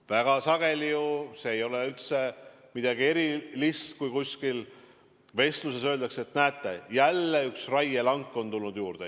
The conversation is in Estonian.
Väga sageli – see ei ole üldse midagi erilist – öeldakse kuskil vestluses, et näete, jälle üks raielank on juurde tulnud.